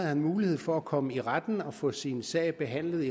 har mulighed for at komme i retten og få sin sag behandlet